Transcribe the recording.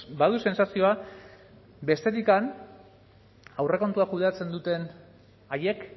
badu sentsazioa bestetik aurrekontua kudeatzen duten haiek